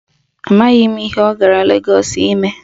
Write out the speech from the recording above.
Amaghị m ihe ọ gara Legọọsụ ime.